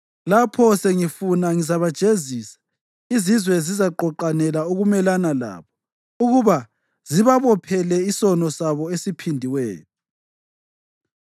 Lapho sengifuna, ngizabajezisa; izizwe zizaqoqanela ukumelana labo ukuba zibabophele isono sabo esiphindiweyo.